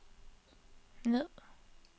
ned